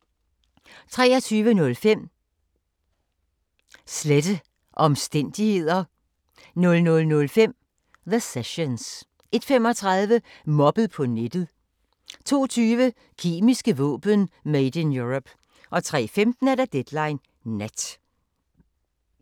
23:05: Slette omstændigheder 00:05: The Sessions 01:35: Mobbet på nettet 02:20: Kemiske våben: Made in Europe 03:15: Deadline Nat